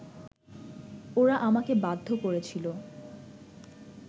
ওরা আমাকে বাধ্য করেছিলো